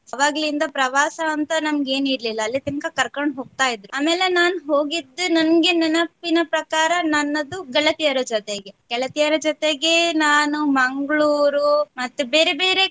ಅವಾಗ್ಲಿಂದ ಪ್ರವಾಸ ಅಂತ ನಮಗೇನ್ ಇರಲಿಲ್ಲ ಅಲ್ಲಿತನ್ಕ ಕರ್ಕೊಂಡ್ ಹೋಗ್ತಾ ಇದ್ರು ಆಮೇಲೆ ನಾನ್ ಹೋಗಿದ್ದು ನನ್ಗೆ ನೆನಪಿನ ಪ್ರಕಾರ ನನ್ನದು ಗೆಳತಿಯರ ಜೊತೆಗೆ ಗೆಳತಿಯರ ಜೊತೆಗೆ ನಾನು ಮಂಗ್ಳೂರು ಮತ್ತು ಬೇರೆ ಬೇರೆ